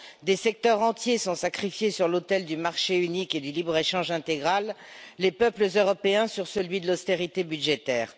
des secteurs entiers sont sacrifiés sur l'autel du marché unique et du libre échange intégral, les peuples européens sur celui de l'austérité budgétaire.